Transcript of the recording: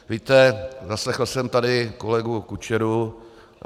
Víte, zaslechl jsem tady kolegu Kučeru.